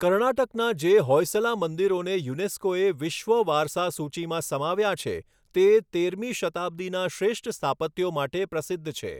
કર્ણાટકના જે હોયસલા મંદિરોને યુનેસ્કૉએ વિશ્વ વારસા સૂચિમાં સમાવ્યાં છે, તે, તેરમી શતાબ્દિનાં શ્રેષ્ઠ સ્થાપત્યો માટે પ્રસિદ્ધ છે.